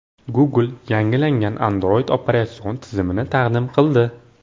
Google yangilangan Android operatsion tizimini taqdim qildi.